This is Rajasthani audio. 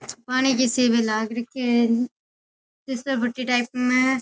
पानी किसी में लाग रखे है फिसल पट्टी टाइप में।